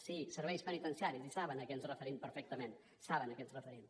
sí serveis penitenciaris i saben a què ens referim perfectament saben a què ens referim